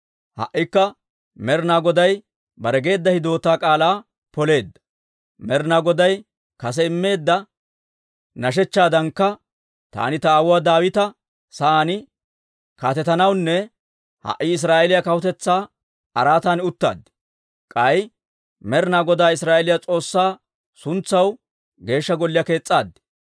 «Ha"ikka Med'inaa Goday bare geedda hidootaa k'aalaa poleedda. Med'inaa Goday kase immeedda nashechchaadankka, taani ta aawuwaa Daawita sa'aan kaatetanawunne ha"i Israa'eeliyaa kawutetsaa araatan uttaad. K'ay Med'inaa Godaa Israa'eeliyaa S'oossaa suntsaw Geeshsha Golliyaa kees's'aad.